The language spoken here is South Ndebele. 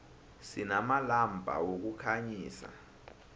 sinamalampa wokukhanyisa